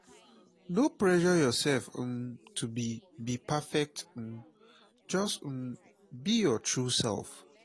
no pressure yourself um to be be perfect um just um be your true self.